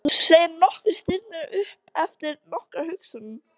Þú segir nokkuð, stynur hann upp eftir nokkra umhugsun.